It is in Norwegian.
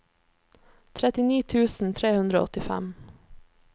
trettini tusen tre hundre og åttifem